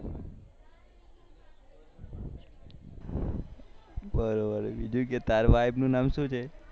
બરોબર બીજું કે તાર વાઈફ નુ નામ શું છે